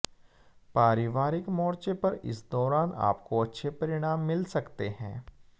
पारिवारिक मोर्चे पर इस दौरान आपको अच्छे परिणाम मिल सकते हैं